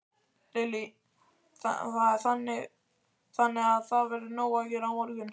Lillý: Þannig að það verður nóg að gera á morgun?